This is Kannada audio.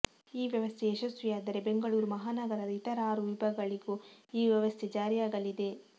ಈ ವ್ಯವಸ್ಥೆ ಯಶಸ್ವಿಯಾದರೆ ಬೆಂಗಳೂರು ಮಹಾನಗರದ ಇತರ ಆರು ವಿಭಾಗಳಿಗೂ ಈ ವ್ಯವಸ್ಥೆ ಜಾರಿಯಾಗಲಿದೆ